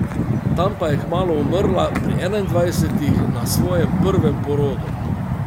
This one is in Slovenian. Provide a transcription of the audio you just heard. Tam pa je kmalu umrla, pri enaindvajsetih, na svojem prvem porodu.